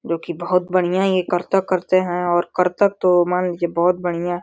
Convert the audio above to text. जोकि बोहोत बढ़ियां ये करत करते हैं और करतब तो मान लीजिये बोहोत बढ़ियां --